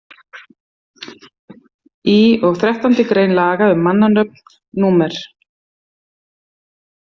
Í og þrettándi grein laga um mannanöfn númer